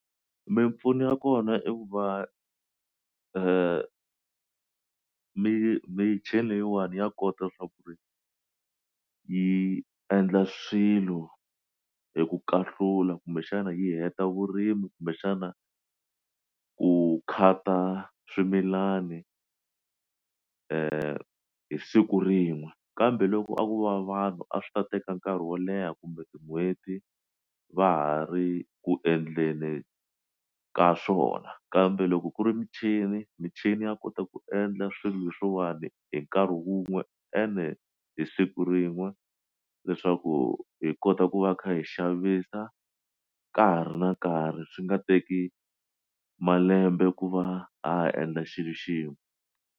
Mimpfuno ya kona i ku va michini leyiwani ya kota ku ri yi endla swilo hi ku kahlula kumbexana yi heta vurimi kumbexana ku khata swimilani hi siku rin'we kambe loko a ku va vanhu a swi ta teka nkarhi wo leha kumbe tin'hweti va ha ri ku endleni ka swona kambe loko ku ri michini michini ya kota ku endla swilo leswiwani hi nkarhi wun'we ene hi siku rin'we leswaku hi kota ku va kha hi xavisa ka hari na nkarhi swi nga teki malembe ku va ha ha endla xilo xin'we.